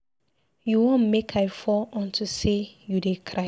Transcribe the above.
You wan make I fall unto say you dey cry.